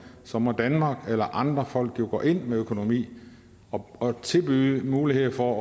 så må danmark eller andre folk jo gå ind med økonomi og tilbyde muligheder for